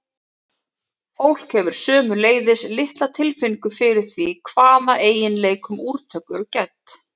fólk hefur sömuleiðis litla tilfinningu fyrir því hvaða eiginleikum úrtök eru gædd